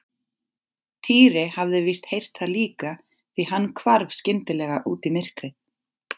Týri hafði víst heyrt það líka því hann hvarf skyndilega út í myrkrið.